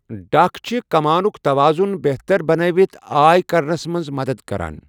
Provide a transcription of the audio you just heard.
ڈکھ چھِ کمانُک توازُن بہتر بنٲوِتھ آے کرنس منٛز مدد کران۔